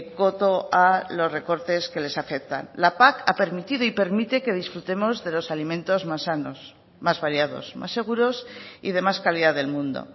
coto a los recortes que les afectan la pac ha permitido y permite que disfrutemos de los alimentos más sanos más variados más seguros y de más calidad del mundo